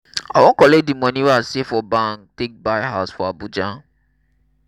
i wan collect di moni wey i save for bank take buy house for abuja.